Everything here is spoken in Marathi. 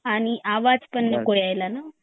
आणि आवाज पण नको यायला ना